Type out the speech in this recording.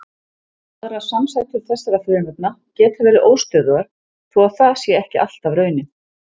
Aðrar samsætur þessara frumefna geta verið óstöðugar þó það sé ekki alltaf raunin.